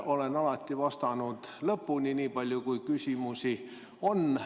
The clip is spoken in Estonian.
Olen alati vastanud lõpuni, nii palju kui küsimusi on.